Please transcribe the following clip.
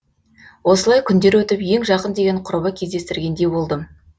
осылай күндер өтіп ең жақын деген құрбы кздестіргендей болдым